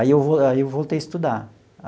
Aí eu aí eu voltei a estudar.